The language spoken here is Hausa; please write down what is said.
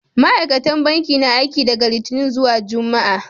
Ma'aikatan banki na aiki daga Littini zuwa Juma'a.